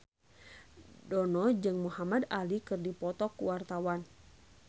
Dono jeung Muhamad Ali keur dipoto ku wartawan